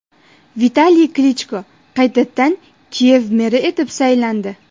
Vitaliy Klichko qaytadan Kiyev meri etib saylandi.